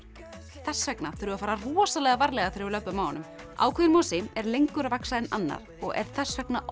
þess vegna þurfum við að fara rosalega varlega þegar við löbbum á honum ákveðinn mosi er lengur að vaxa en annar og er þess vegna oft